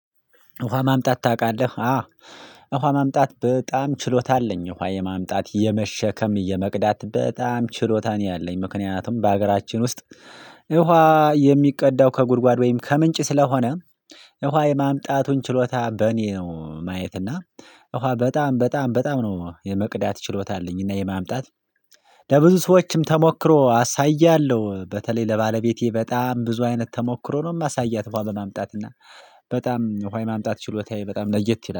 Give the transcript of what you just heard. ውሃ ማምጣት ታውቃለህ? አዎ ውሃ ማምጣት በጣም ችሎታ አለኝ ውሃ የማምጣት የመሸከም የመቅዳት በጣም ችሎታ ነው ያለኝ ምክንያቱም በሀገራችን ውስጥ የውሃ የሚቀዳው ከጉድጓድ ወይም ከምንጭ ስለሆነ። ውሃ የማምጣቱን ችሎታ በእኔ ነው ማየት እና ውሃ በጣም በጣም በጣም ነው የመቅዳት ችሎታ አለኝና የማምጣት ለብዙ ሰዎችም ተሞክሮ አሳያለሁ በተለይ ለባለቤቴ በጣም ብዙ አይነት ተሞክሮ ነው የማሳያት ውሃ በማምጣት ላይ። በጣም ውሃ ማምጣት ችሎታዬ በጣም ለየት ይላል